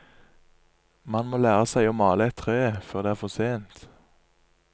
Man må lære seg å male et tre før det er for sent.